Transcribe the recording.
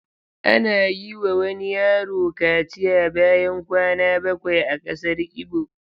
Ana yiwa wani yaro kaciya bayan kwana bakwai a kasar Igbo.